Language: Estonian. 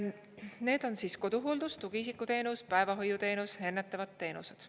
Need on koduhooldus, tugiisikuteenus, päevahoiuteenus, ennetavad teenused.